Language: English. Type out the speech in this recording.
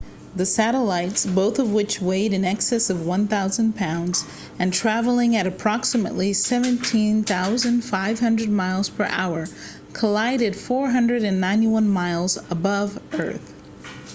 the satellites both of which weighed in excess of 1,000 pounds and traveling at approximately 17,500 miles per hour collided 491 miles above the earth